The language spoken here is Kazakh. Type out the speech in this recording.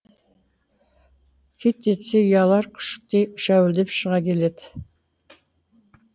қит етсе ұялар күшіктей шәуілдеп шыға келеді